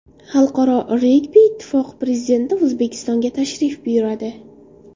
Xalqaro regbi ittifoqi prezidenti O‘zbekistonga tashrif buyuradi.